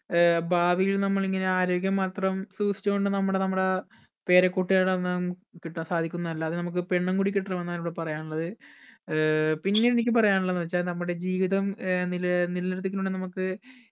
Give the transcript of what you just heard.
ഏർ ഭാവിയിൽ നമ്മൾ ഇങ്ങനെ ആരോഗ്യം മാത്രം സൂക്ഷിച്ചോണ്ട് നമ്മട് നമ്മടെ പേരക്കുട്ടികളെ ഒന്നും കിട്ടാൻ സാധിക്കുന്നതല്ല അത് നമ്മക്ക് പെണ്ണും കൂടി കിട്ടണം എന്നാണ് എനിക്ക് പറയാനുള്ളത് ഏർ പിന്നെ എനിക്ക് പറയാനുള്ളത് എന്നെച്ച നമ്മുടെ ജീവിതം ഏർ നിൽ നിലനിർത്തിക്കണെന്നിൽ നമ്മക്ക്